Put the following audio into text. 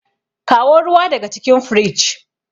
kawo ruwa daga cikin fridge